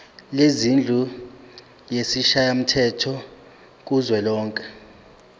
lendlu yesishayamthetho kuzwelonke